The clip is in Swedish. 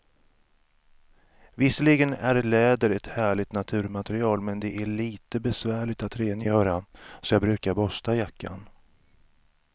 Visserligen är läder ett härligt naturmaterial, men det är lite besvärligt att rengöra, så jag brukar borsta jackan.